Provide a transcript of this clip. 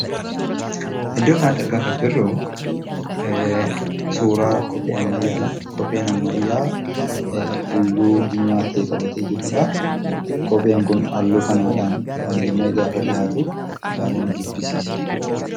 Iddoo kanatti argaa kan jirru suuraa kophee ammayyaa dha. Kopheen ammayyaa'aa halluu diimaa ta'e qabatee jiruu dha. Kopheen kun halluu kanaadhaan faayamee gaafa dhiyaatu baay'ee na jibbisiisa.